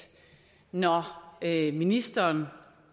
når ministeren